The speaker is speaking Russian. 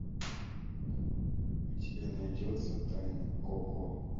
у тебя найдется тайна коко